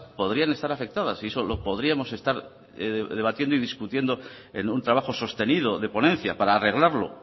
podrían estar afectadas y eso lo podríamos estar debatiendo y discutiendo en un trabajo sostenido de ponencia para arreglarlo